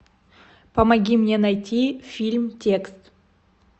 помоги мне найти фильм текст